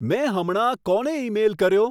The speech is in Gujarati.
મેં હમણાં કોને ઈમેઈલ કર્યો